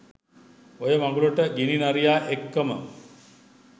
ඔය මඟුලට ගිනි නරියා එක්කම